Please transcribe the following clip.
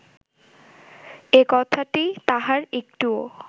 একথাটি তাঁহার একটুও